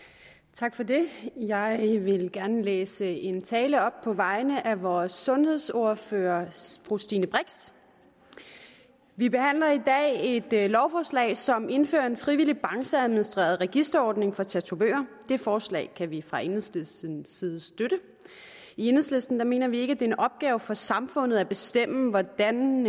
tak for det jeg vil gerne læse en tale op på vegne af vores sundhedsordfører fru stine brix vi behandler i dag et lovforslag som indfører en frivillig brancheadministreret registreringsordning for tatovører det forslag kan vi fra enhedslistens side støtte i enhedslisten mener vi ikke det en opgave for samfundet at bestemme hvordan